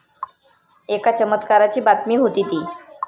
एका चमत्काराची बातमी होती ती.